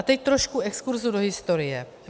A teď trošku exkurzu do historie.